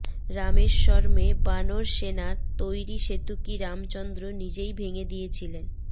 রামেশ্বরমে বানর সেনার তৈরি সেতু কি রামচন্দ্র নিজেই ভেঙে দিয়েছিলেন